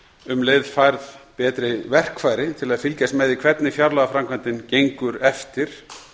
um leið færð betri verkfæri til að fylgjast með því hvernig fjárlagaframkvæmdin gengur eftir